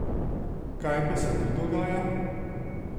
Kaj pa se tu dogaja?